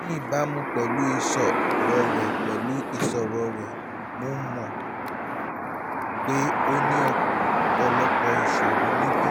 ní ìbámu pẹ̀lú ìṣòro rẹ pẹ̀lú ìṣòro rẹ mo mọ̀ pé o ní ọ̀pọ̀lọpọ̀ ìṣòro níbí